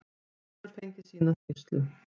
Hún hefur fengið sína skýrslu.